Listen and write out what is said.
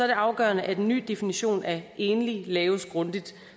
det afgørende at en ny definition af enlige laves grundigt